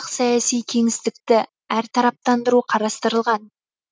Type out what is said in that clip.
саяси кеңістікті әртараптандыру қарастылған